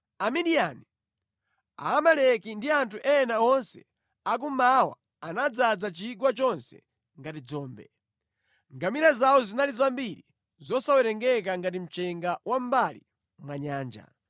Amidiyani, Aamaleki ndi anthu ena onse akummawa anadzaza chigwa chonse ngati dzombe. Ngamira zawo zinali zambiri zosawerengeka ngati mchenga wa mʼmbali mwa nyanja.